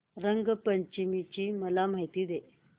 रंग पंचमी ची मला माहिती दे